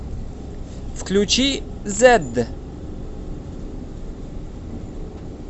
включи зэдд